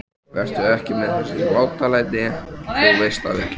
Vertu ekki með þessi látalæti. þú veist það vel!